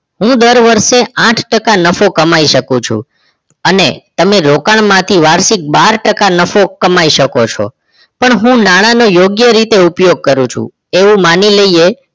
હું દર વર્ષે આઠ ટકા નફો કમાઈ શકું છું અને તમે રોકાણમાંથી વાર્ષિક બાર ટકા નફો કમાઈ શકો છો પણ હું નાણાનો યોગ્ય રીતે ઉપયોગ કરું છું એવું માની લઈએ